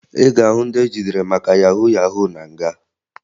Ị ga-ahụ ndị ejidere maka yahu yahu na nga